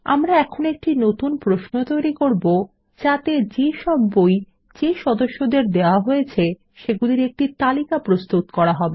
আমরা এখন একটি নতুন প্রশ্ন তৈরী করব যাতে যে সব বই যে সদস্যদের দেওয়া হয়েছে সেগুলির একটি তালিকা প্রস্তুত করা হবে